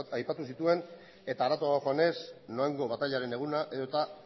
aipatu zituen eta harago joanez noaingo batailaren eguna eta